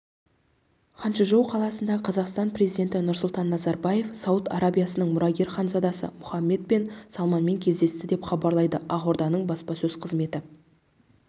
ханчжоу қаласында қазақстан президенті нұрсұлтан назарбаев сауд арабиясының мұрагер ханзадасы мұхаммед бен салманмен кездесті деп хабарлайды ақорданың баспасөз қызметі